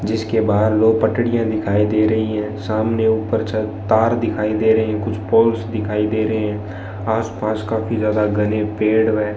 जिसके बाहर दो पटरियां दिखाई दे रही हैं सामने ऊपर छत तार दिखाई दे रहे हैं कुछ पोल्स दिखाई दे रहे हैं आसपास काफी ज्यादा घने पेड़ व --